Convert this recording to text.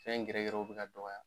Fɛn gɛrɛgɛrɛw be ka dɔgɔya.